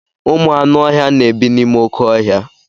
Ụmụ anụ ọhịa na-ebi n'ime oké ọhịa.